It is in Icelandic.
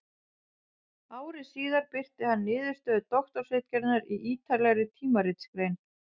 Ári síðar birti hann niðurstöður doktorsritgerðarinnar í ýtarlegri tímaritsgrein.